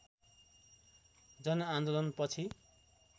जनआन्दोलन पछि